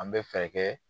An bɛ fɛɛrɛ kɛ